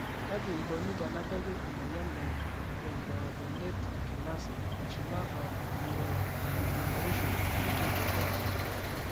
kaji eikoni tenebaki emoyian e pantothenate kinase eshula o neurodegeneration (PKAN)?